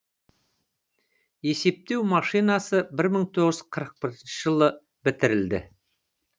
есептеу машинасы бір мың тоғыз жүз қырық бірінші жылы бітірілді